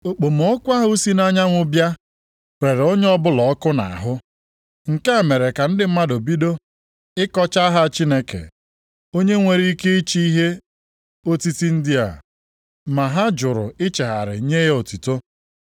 Okpomọkụ ahụ si nʼanyanwụ bịa rere onye ọbụla ọkụ nʼahụ. Nke a mere ka ndị mmadụ bido ịkọcha aha Chineke, onye nwere ike ịchị ihe otiti ndị a, ma ha jụrụ ichegharị nye ya otuto.